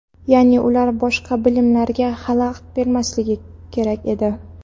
Ya’ni ular boshqa bilimlilarga xalaqit bermasligi kerak edi.